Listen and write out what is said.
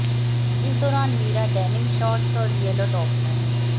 इस दौरान Meera denim shorts और येलो टॉप में